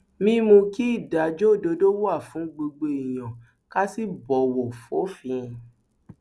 mímú kí ìdájọ òdodo wà fún gbogbo èèyàn ká sì bọwọ fòfin